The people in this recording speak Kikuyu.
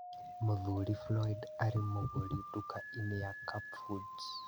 Mũthuri Flyod arĩ mũgũri nduka-inĩ ya Cup Foods